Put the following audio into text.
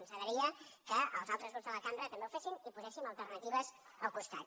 ens agradaria que els altres grups de la cambra també ho fessin i poséssim alternatives al costat